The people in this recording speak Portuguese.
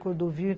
Cordovil.